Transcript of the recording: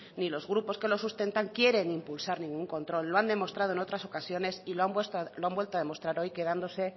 ni los grupos que lo sustentan quieren impulsar ningún control lo han demostrado en otras ocasiones y lo han vuelto a demostrar hoy quedándose